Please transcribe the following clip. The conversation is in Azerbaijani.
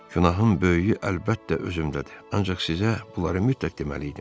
Günahın böyüyü əlbəttə özümdədir, ancaq sizə bunları mütləq deməli idim.